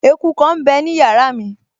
Eku kan m bẹ ní yàrá mi